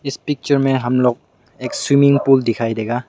इस पिक्चर में हम लोग एक स्विमिंग पूल दिखाई देगा।